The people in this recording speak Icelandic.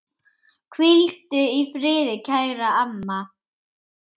Hvíldu í friði, kæra amma.